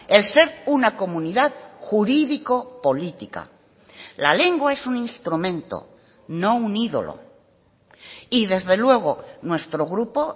el ser una comunidad jurídico política la lengua es un instrumento no un ídolo y desde luego nuestro grupo